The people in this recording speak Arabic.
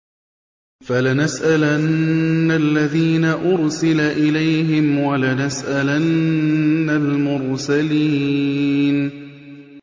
فَلَنَسْأَلَنَّ الَّذِينَ أُرْسِلَ إِلَيْهِمْ وَلَنَسْأَلَنَّ الْمُرْسَلِينَ